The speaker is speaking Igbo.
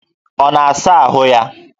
Ọ na-asa ahụ ya?